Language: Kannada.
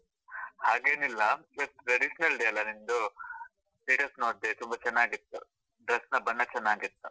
ಹಾಗೇನಿಲ್ಲಇವತ್ತು traditional day ಅಲ್ಲ ನಿಮ್ದು, status ನೋಡ್ದೆ ತುಂಬಾ ಚೆನ್ನಾಗಿತ್ತು, dress ನ ಬಣ್ಣ ಚೆನ್ನಾಗಿತ್ತು.